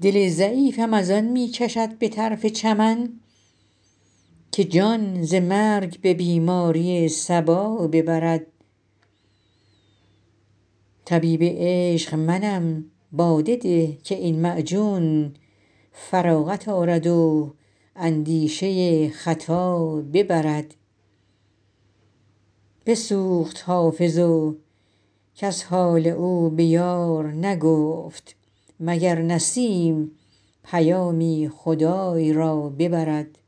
دل ضعیفم از آن می کشد به طرف چمن که جان ز مرگ به بیماری صبا ببرد طبیب عشق منم باده ده که این معجون فراغت آرد و اندیشه خطا ببرد بسوخت حافظ و کس حال او به یار نگفت مگر نسیم پیامی خدای را ببرد